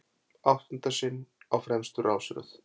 Áttunda sinn á fremstu rásröð